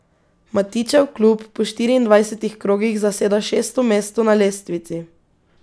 Matićev klub po štiriindvajsetih krogih zaseda šesto mesto na lestvici.